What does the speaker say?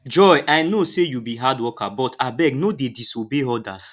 joy i no say you be hard worker but abeg no dey disobey orders